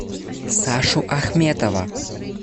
сашу ахметова